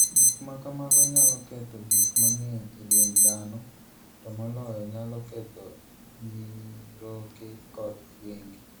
Gik ma kamago nyalo ketho gik mang'eny e dend dhano, to moloyo, nyalo ketho nyiroke kod wenge.